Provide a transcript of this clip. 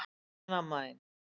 En amma þín?